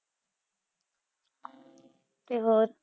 ਤੇ ਹੋਰ।